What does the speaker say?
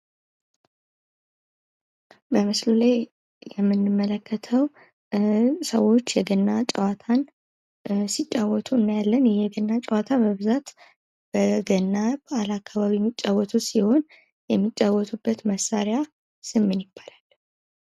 በምስሉ ላይ የምንመለከተው ሰዎች የገና ጭዋታን ሲጫወቱ እናያለን። የገና ጭዋታ በብዛት በገና በዓላት አከባቢ የሚጫወቱት ጭዋታ ሲሆን የሚጫወቱበት መሣሪያ ስም ምን ይባላል?